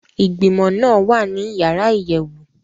Igbimọ naa wa ni yara iyẹwu.